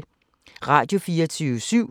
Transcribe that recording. Radio24syv